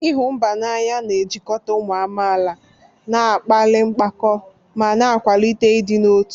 ịhụ mba n'anya na-ejikọta ụmụ amaala, na-akpali mpako, ma na-akwalite ịdị n'otu.